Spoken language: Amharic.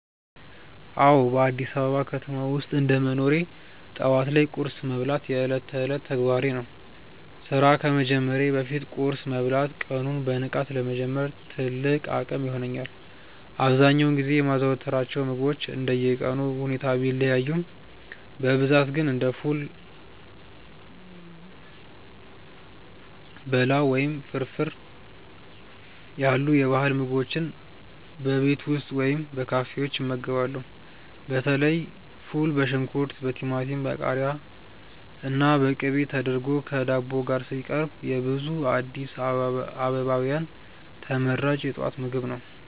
አዎ፣ በአዲስ አበባ ከተማ ውስጥ እንደ መኖሬ ጠዋት ላይ ቁርስ መብላት የዕለት ተዕለት ተግባሬ ነው። ስራ ከመጀመሬ በፊት ቁርስ መብላት ቀኑን በንቃት ለመጀመር ትልቅ አቅም ይሆነኛል። አብዛኛውን ጊዜ የማዘወትራቸው ምግቦች እንደየቀኑ ሁኔታ ቢለያዩም፣ በብዛት ግን እንደ ፉል፣ በላው ወይም ፍርፍር ያሉ የባህል ምግቦችን በቤት ውስጥ ወይም በካፌዎች እመገባለሁ። በተለይ ፉል በሽንኩርት፣ በቲማቲም፣ በቃሪያና በቅቤ ተደርጎ ከዳቦ ጋር ሲቀርብ የብዙ አዲስ አበባውያን ተመራጭ የጠዋት ምግብ ነው።